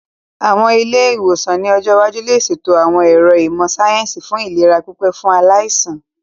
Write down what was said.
Àwọn ilé-ìwòsàn ní ọjọ́ iwájú lè ṣètò àwọn ẹ̀ro ìmọ̀ síáyẹ́nsì fún ìlera pípé fún aláìsàn